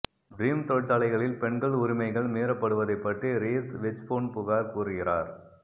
dream தொழிற்சாலைகளில் பெண்கள் உரிமைகள் மீறப்படுவதைப் பற்றி ரீஸ் வெச்பூன் புகார் கூறுகிறார்